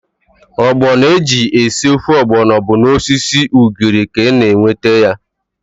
Ọgbọnọ eji esi ofe ọgbọnọ bụ n'osisi ugiri ka a na-enweta ya.